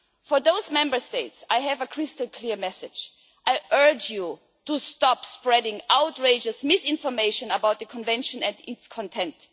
For those Member States I have a crystal clear message I urge you to stop spreading outrageous misinformation about the Convention and its content.